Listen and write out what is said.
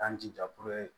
K'an jija